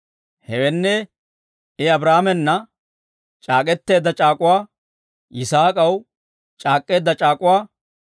Hewenne, I, Abrahaamana c'aak'k'eteedda c'aak'uwaa, Yisaak'aw c'aak'k'eedda c'aak'uwaa,